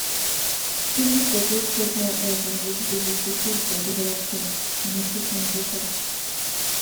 people suppose chop more egg and vegetable to keep body healthy and nutrition better